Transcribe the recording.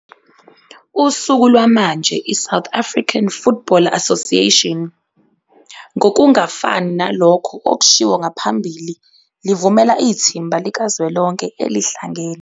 Usuku lwamanje iSouth African Football Association, ngokungafani nalokho okushiwo ngaphambili livumela ithimba likazwelonke elihlangene.